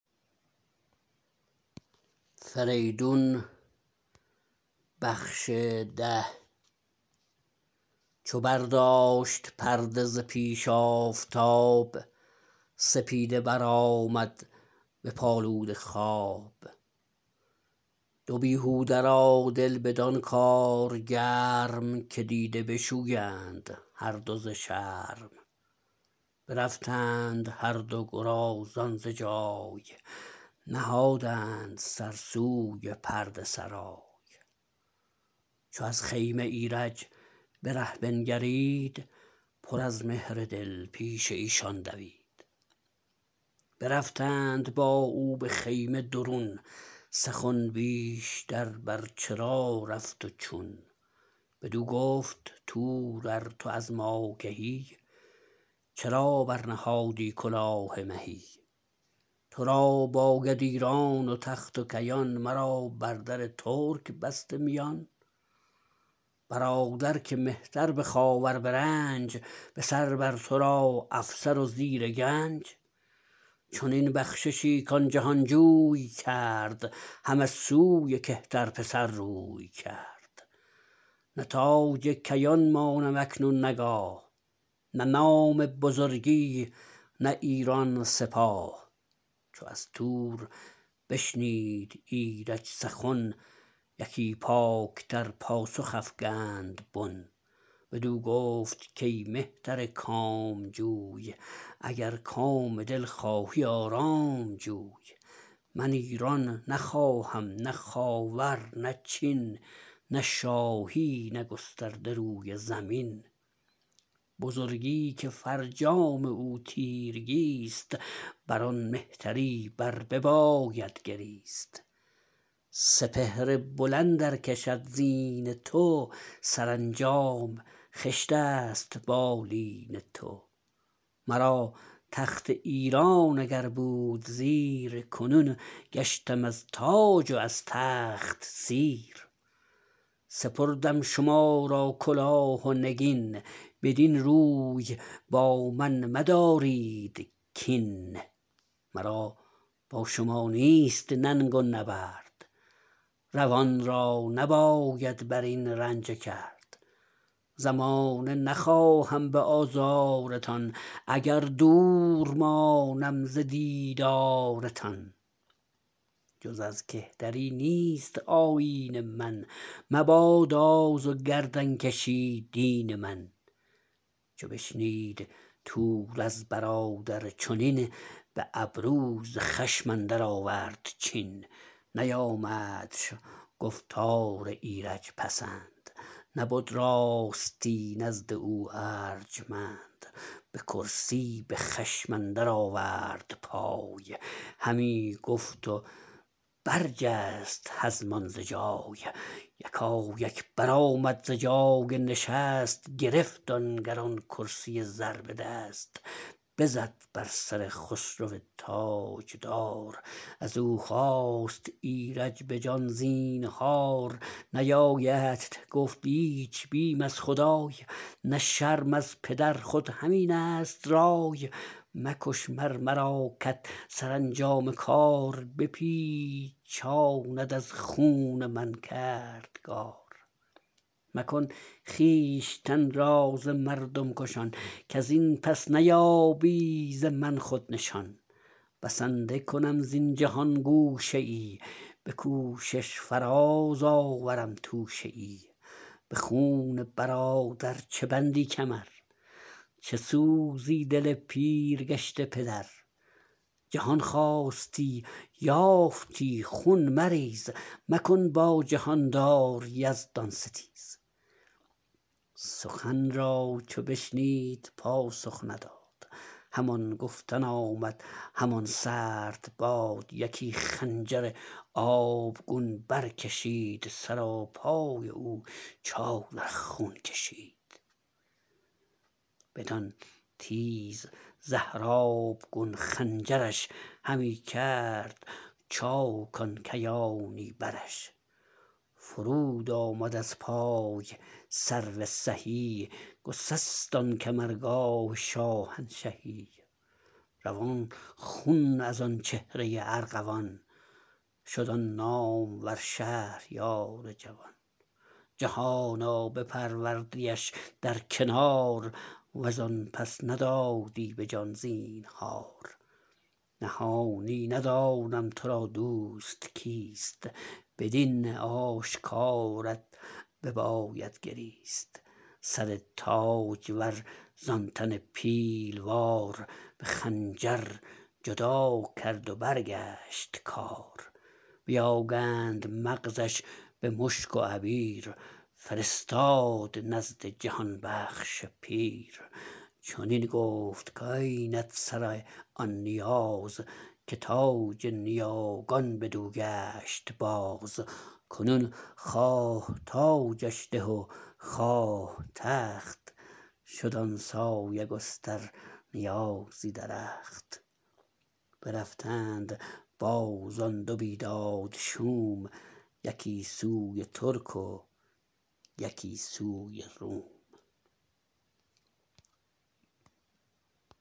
چو برداشت پرده ز پیش آفتاب سپیده برآمد بپالود خواب دو بیهوده را دل بدان کار گرم که دیده بشویند هر دو ز شرم برفتند هر دو گرازان ز جای نهادند سر سوی پرده سرای چو از خیمه ایرج به ره بنگرید پر از مهر دل پیش ایشان دوید برفتند با او به خیمه درون سخن بیشتر بر چرا رفت و چون بدو گفت تور ار تو از ما کهی چرا برنهادی کلاه مهی ترا باید ایران و تخت کیان مرا بر در ترک بسته میان برادر که مهتر به خاور به رنج به سر بر ترا افسر و زیر گنج چنین بخششی کان جهان جوی کرد همه سوی کهتر پسر روی کرد نه تاج کیان مانم اکنون نه گاه نه نام بزرگی نه ایران سپاه چو از تور بشنید ایرج سخن یکی پاک تر پاسخ افگند بن بدو گفت کای مهتر کام جو ی اگر کام دل خواهی آرام جوی من ایران نخواهم نه خاور نه چین نه شاهی نه گسترده روی زمین بزرگی که فرجام او تیرگی ست بر آن مهتری بر بباید گریست سپهر بلند ار کشد زین تو سرانجام خشت است بالین تو مرا تخت ایران اگر بود زیر کنون گشتم از تاج و از تخت سیر سپردم شما را کلاه و نگین بدین روی با من مدارید کین مرا با شما نیست ننگ و نبرد روان را نباید برین رنجه کرد زمانه نخواهم به آزار تان اگر دور مانم ز دیدار تان جز از کهتری نیست آیین من مباد آز و گردن کشی دین من چو بشنید تور از برادر چنین به ابرو ز خشم اندر آورد چین نیامدش گفتار ایرج پسند نبد راستی نزد او ارجمند به کرسی به خشم اندر آورد پای همی گفت و برجست هزمان ز جای یکایک برآمد ز جای نشست گرفت آن گران کرسی زر به دست بزد بر سر خسرو تاجدار از او خواست ایرج به جان زینهار نیایدت گفت ایچ بیم از خدای نه شرم از پدر خود همین است رای مکش مر مرا که ت سرانجام کار بپیچاند از خون من کردگار مکن خویشتن را ز مردم کشان کزین پس نیابی ز من خود نشان بسنده کنم زین جهان گوشه ای به کوشش فراز آورم توشه ای به خون برادر چه بندی کمر چه سوزی دل پیر گشته پدر جهان خواستی یافتی خون مریز مکن با جهاندار یزدان ستیز سخن را چو بشنید پاسخ نداد همان گفتن آمد همان سرد باد یکی خنجر آبگون برکشید سراپای او چادر خون کشید بدان تیز زهر آبگون خنجر ش همی کرد چاک آن کیانی برش فرود آمد از پای سرو سهی گسست آن کمرگاه شاهنشهی روان خون از آن چهره ارغوان شد آن نامور شهریار جوان جهانا بپروردیش در کنار وز آن پس ندادی به جان زینهار نهانی ندانم ترا دوست کیست بدین آشکارت بباید گریست سر تاجور ز آن تن پیلوار به خنجر جدا کرد و برگشت کار بیاگند مغز ش به مشک و عبیر فرستاد نزد جهان بخش پیر چنین گفت کاینت سر آن نیاز که تاج نیاگان بدو گشت باز کنون خواه تاجش ده و خواه تخت شد آن سایه گستر نیازی درخت برفتند باز آن دو بیداد شوم یکی سوی ترک و یکی سوی روم